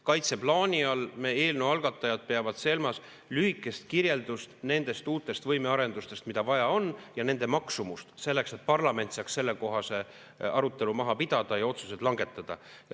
Kaitseplaani all meie eelnõu algatajad peavad silmas lühikest kirjeldust nendest uutest võimearendustest, mida vaja on, ja nende maksumust, selleks et parlament saaks sellekohase arutelu maha pidada ja otsused langetada.